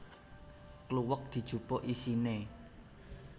Kluwek dijupuk isine